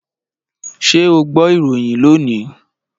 Ṣé o gbọ́ ìròyìn lónìí?